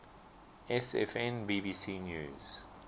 sfn bbc news